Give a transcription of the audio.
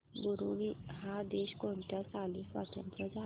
Burundi हा देश कोणत्या साली स्वातंत्र्य झाला